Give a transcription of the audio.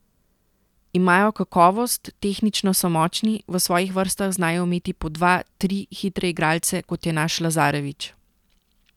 Imajo kakovost, tehnično so močni, v svojih vrstah znajo imeti po dva, tri hitre igralce, kot je naš Lazarević.